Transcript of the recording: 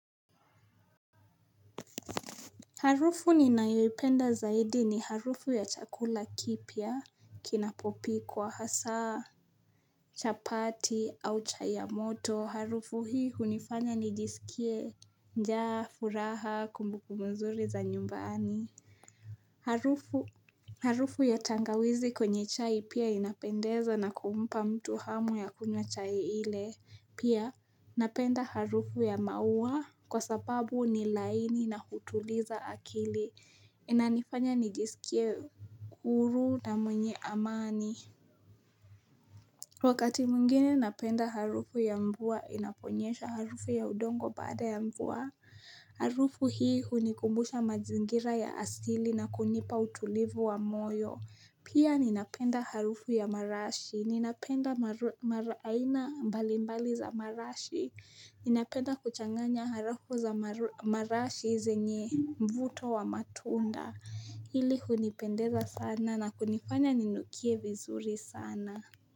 Harufu ninaipenda zaidi ni harufu ya chakula kipia kinapopikwa hasa chapati au chai ya moto. Harufu hii unifanya nijisikie njaa furaha kumbukumbu mzuri za nyumbani. Harufu ya tangawizi kwenye chai pia inapendeza na kumpa mtu hamu ya kunya chai ile pia napenda harufu ya maua kwa sababu ni laini na hutuliza akili inanifanya nijisikie kuru na mwenye amani Wakati mwingine napenda harufu ya mvua inaponyesha harufu ya udongo baada ya mvua Harufu hii hunikumbusha mazingira ya asili na kunipa utulivu wa moyo Pia ninapenda harufu ya marashi Ninapenda maraina mbalimbali za marashi Ninapenda kuchanganya harufu za marashi zenye mvuto wa matunda Hili hunipendeza sana na kunifanya ninukie vizuri sana na.